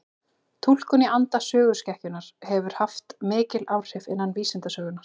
Túlkun í anda söguskekkjunnar hefur haft mikil áhrif innan vísindasögunnar.